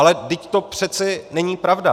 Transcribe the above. Ale vždyť to přece není pravda.